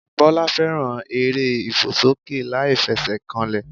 Bọ́lá fẹ́ràn eré ìfòsókè láìfesèkanlè